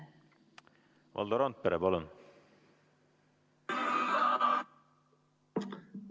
Valdo Randpere, palun!